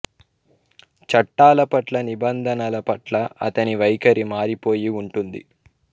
చట్టాల పట్ల నిబంధనల పట్ల అతని వైఖరి మారిపోయి ఉంటుంది